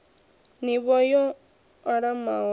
n ivho yo alaho ya